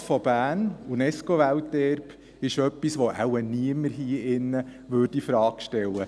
Die Altstadt Berns, UNESCO-Welterbe, ist etwas, das wahrscheinlich niemand hier in diesem Saal infrage stellen würde.